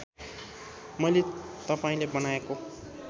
मैले तपाईँले बनाएको